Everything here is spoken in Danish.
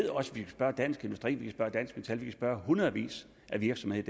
spørge dansk industri vi kan spørge dansk metal vi kan spørge hundredvis af virksomheder